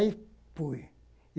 Aí fui.